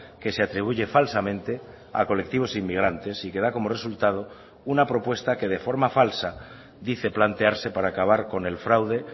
que se atribuye falsamente a colectivos inmigrantes y que da como resultado una propuesta que de forma falsa dice plantearse para acabar con el fraude